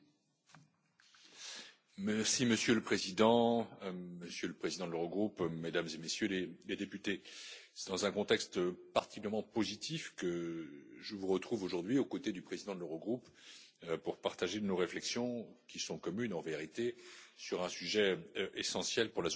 Monsieur le Président, Monsieur le Président de l'Eurogroupe, Mesdames et Messieurs les députés, c'est dans un contexte particulièrement positif que je vous retrouve aujourd'hui aux côtés du président de l'Eurogroupe, pour partager nos réflexions, qui sont communes en vérité, sur un sujet essentiel pour la zone euro et pour l'Union européenne dans son ensemble.